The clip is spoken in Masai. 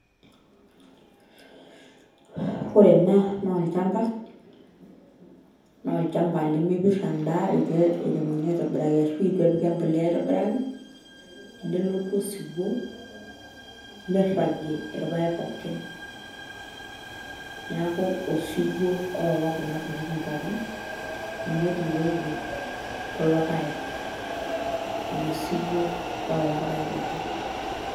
Ore ena naa olchamba naa olchamba lemepirr endaa itu iremokini aitobiraki ashu itu epiki embolea aitoboraki nelotu osiwuo nirragie irpaek pookin, neeku osiwuo oowa kuna tokitin pookin ninye otuuroyie kulo paek ilo siwuo oowa irpaek pookin.